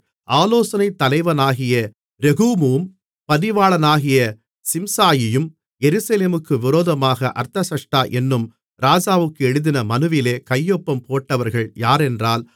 ஆலோசனைத் தலைவனாகிய ரெகூமும் பதிவாளனாகிய சிம்சாயியும் எருசலேமுக்கு விரோதமாக அர்தசஷ்டா என்னும் ராஜாவுக்கு எழுதின மனுவிலே கையொப்பம் போட்டவர்கள் யாரென்றால்